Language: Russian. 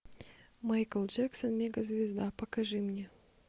майкл джексон мега звезда покажи мне